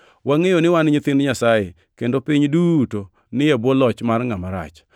Wangʼeyo ni wan nyithind Nyasaye, kendo piny duto ni e bwo loch mar ngʼama rach.